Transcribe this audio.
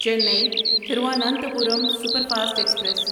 چینی Thiruvananthapuram superfast express